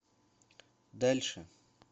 дальше